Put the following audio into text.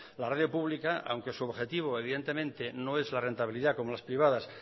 la radio pública aunque su objetivo evidentemente no es la rentabilidad como las privadas